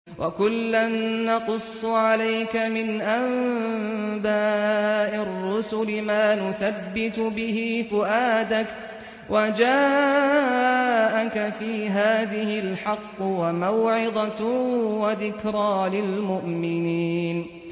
وَكُلًّا نَّقُصُّ عَلَيْكَ مِنْ أَنبَاءِ الرُّسُلِ مَا نُثَبِّتُ بِهِ فُؤَادَكَ ۚ وَجَاءَكَ فِي هَٰذِهِ الْحَقُّ وَمَوْعِظَةٌ وَذِكْرَىٰ لِلْمُؤْمِنِينَ